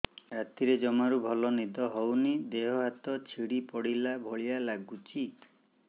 ରାତିରେ ଜମାରୁ ଭଲ ନିଦ ହଉନି ଦେହ ହାତ ଛିଡି ପଡିଲା ଭଳିଆ ଲାଗୁଚି